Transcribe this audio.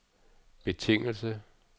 betingelse